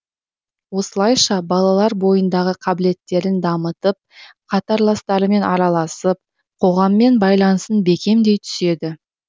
осылайша балалар бойындағы қабілеттерін дамытып қатарластарымен араласып қоғаммен байланысын бекемдей түседі